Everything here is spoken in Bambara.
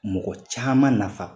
Mɔgɔ caman nafa